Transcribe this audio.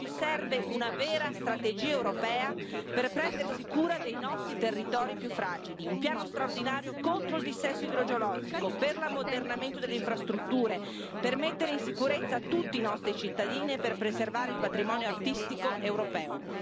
Oggi serve una vera strategia europea per prendersi cura dei nostri territori più fragili, un piano straordinario contro il dissesto idrogeologico, per l'ammodernamento delle infrastrutture, per mettere in sicurezza tutti i nostri cittadini e per preservare il patrimonio artistico europeo.